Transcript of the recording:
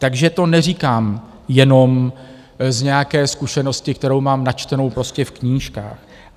Takže to neříkám jenom z nějaké zkušenosti, kterou mám načtenou prostě v knížkách.